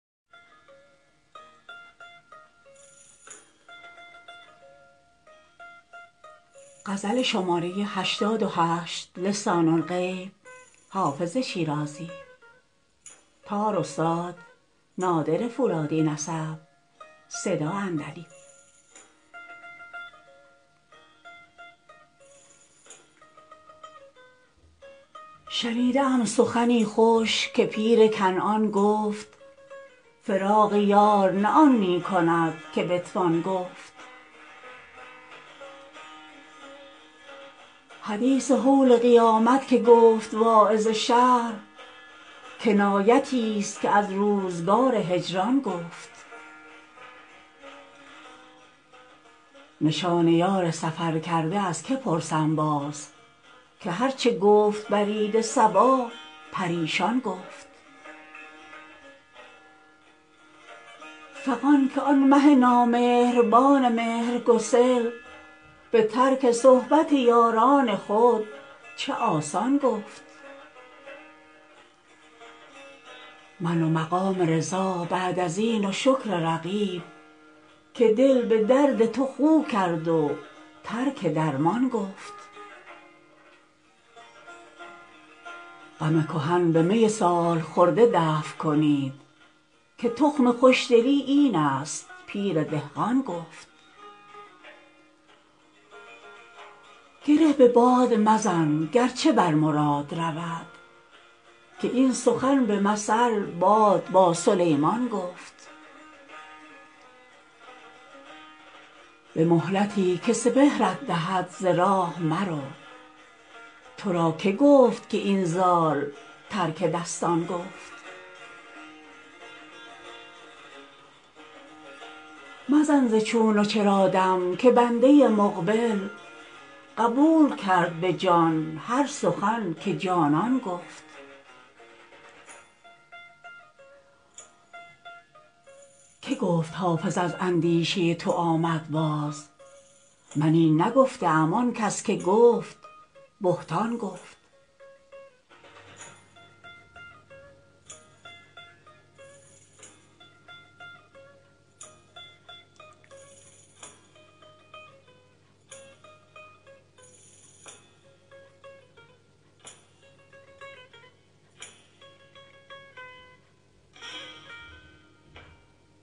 شنیده ام سخنی خوش که پیر کنعان گفت فراق یار نه آن می کند که بتوان گفت حدیث هول قیامت که گفت واعظ شهر کنایتی ست که از روزگار هجران گفت نشان یار سفرکرده از که پرسم باز که هر چه گفت برید صبا پریشان گفت فغان که آن مه نامهربان مهرگسل به ترک صحبت یاران خود چه آسان گفت من و مقام رضا بعد از این و شکر رقیب که دل به درد تو خو کرد و ترک درمان گفت غم کهن به می سال خورده دفع کنید که تخم خوش دلی این است پیر دهقان گفت گره به باد مزن گر چه بر مراد رود که این سخن به مثل باد با سلیمان گفت به مهلتی که سپهرت دهد ز راه مرو تو را که گفت که این زال ترک دستان گفت مزن ز چون و چرا دم که بنده مقبل قبول کرد به جان هر سخن که جانان گفت که گفت حافظ از اندیشه تو آمد باز من این نگفته ام آن کس که گفت بهتان گفت